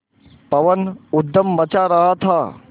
पवन ऊधम मचा रहा था